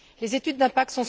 Les études d'impact